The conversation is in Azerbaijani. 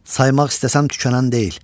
Saymaq istəsəm tükənən deyil.